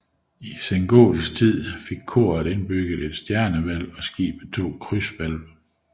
I sengotisk tid fik koret indbygget et stjernehvælv og skibet to krydshvælv